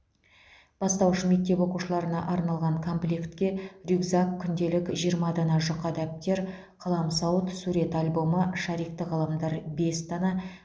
бастауыш мектеп оқушыларына арналған комплектке рюкзак күнделік жиырма дана жұқа дәптер қаламсауыт сурет альбомы шарикті қаламдар бес дана